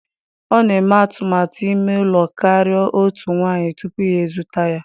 Ọ na-eme atụmatụ ime ịlụ karịa otu nwanyị tupu ya ezute ya.